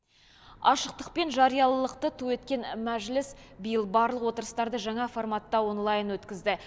ашықтық пен жариялылықты ту еткен мәжіліс биыл барлық отырыстарды жаңа форматта онлайн өткізді